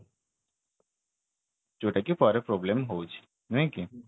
ଯୋଉଟା କି ପରେ problem ହଉଛି ନାଇକି